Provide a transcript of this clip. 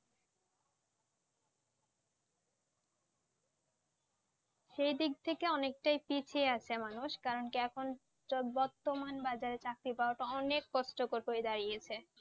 সেই দিক থেকে অনেকটাই পিছিয়ে আছে মানুষ কারণ কি এখন চো বর্তমান বাজারে চাকরি পাওয়াটা অনেক কষ্টকর হয়ে দাঁড়িয়েছে